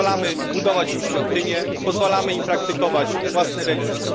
Pozwalamy budować im świątynie, pozwalamy im praktykować własne religie.